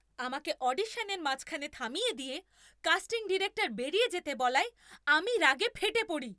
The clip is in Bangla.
আমাকে অডিশনের মাঝখানে থামিয়ে দিয়ে কাস্টিং ডিরেক্টর বেরিয়ে যেতে বলায় আমি রাগে ফেটে পড়ি।